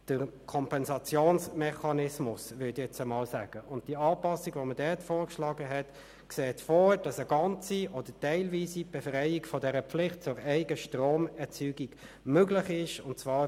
Erstens ging es um die nochmalige Auseinandersetzung mit der Frage des Gebäudeenergieausweises der Kantone (GEAK) in Artikel 36a.